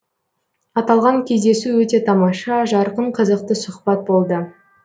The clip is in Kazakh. аталған кездесу өте тамаша жарқын қызықты сұхбат болды